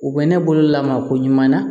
U bɛ ne bolo lamaa ko ɲuman na